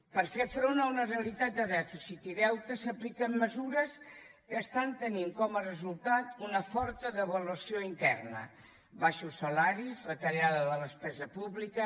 per fer front a una realitat de dèficit i deute s’apliquen mesures que estan tenint com a resultat una forta devaluació interna baixos salaris retallada de la despesa pública